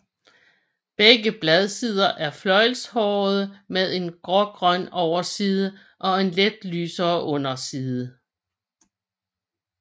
Begge bladsider er fløjlshårede med en grågrøn overside og en lidt lysere underside